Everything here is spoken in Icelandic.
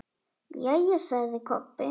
Jæja, sagði Kobbi.